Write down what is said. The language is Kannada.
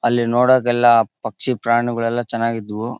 ಅಲ್ಲಿ ನೋಡೋದೆಲ್ಲಾ ಪಕ್ಷಿ ಪ್ರಾಣಿಗಳು ಎಲ್ಲಾ ಚನ್ನಗಿದ್ದವು.